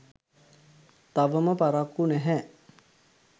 තවම පරක්කු නැහැ.